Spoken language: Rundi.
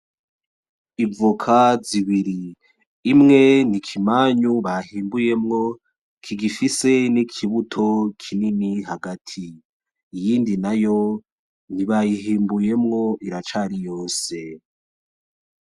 Ivuka zibiri imwe ni ikimanyu bahimbuyemwo kigifise n'ikibuto kinini hagati iyindi na yo ntibayihimbuyemwo iracari yose.